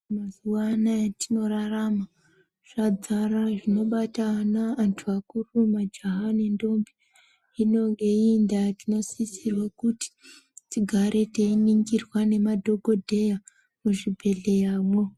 Mazuwa anaya atinorarama zvadzara zvinobata antu akuru majaha nendombi, hino ngeiyi ndaa tinosisirwa kuti tigare teiningirwa ngemadhokodheya muzvibhedhlera mwo.